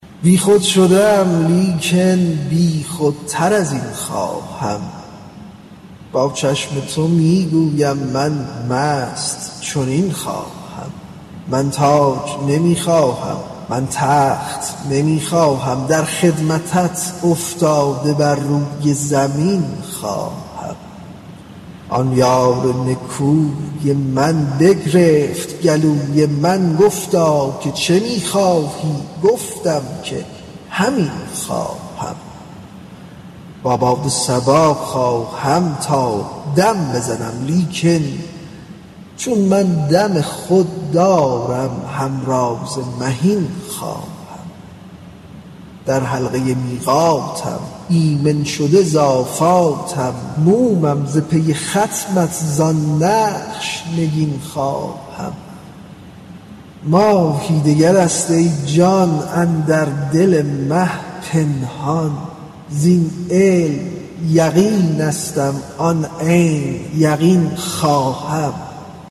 بیخود شده ام لیکن بیخودتر از این خواهم با چشم تو می گویم من مست چنین خواهم من تاج نمی خواهم من تخت نمی خواهم در خدمتت افتاده بر روی زمین خواهم آن یار نکوی من بگرفت گلوی من گفتا که چه می خواهی گفتم که همین خواهم با باد صبا خواهم تا دم بزنم لیکن چون من دم خود دارم همراز مهین خواهم در حلقه میقاتم ایمن شده ز آفاتم مومم ز پی ختمت زان نقش نگین خواهم ماهی دگر است ای جان اندر دل مه پنهان زین علم یقینستم آن عین یقین خواهم